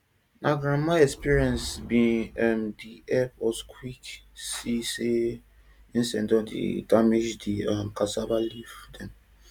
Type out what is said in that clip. na grandmama experience bin um dey help us quick see say insect don dey damage di um cassava leaf dem